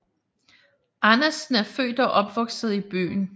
Andersen er født og opvokset i byen